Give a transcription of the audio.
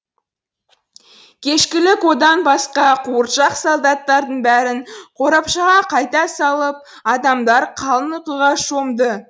кешкілік одан басқа қуыршақ солдаттардың бәрін қорапшаға қайта салып адамдар қалың ұйқыға шомды